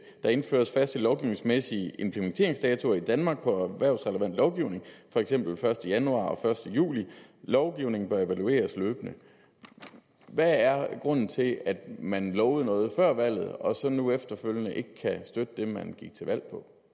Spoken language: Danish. indføres faste lovgivningsmæssige implementeringsdatoer i danmark på erhvervsrelevant lovgivning fx d første januar og d første juli lovgivning bør evalueres løbende hvad er grunden til at man lovede noget før valget og så nu efterfølgende ikke kan støtte det man gik til valg